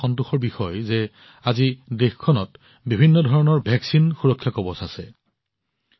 অৱশ্যে এইটো সন্তোষৰ বিষয় যে আজি দেশখনত প্ৰতিষেধকৰ এক বিস্তৃত সুৰক্ষা আৱৰণ আছে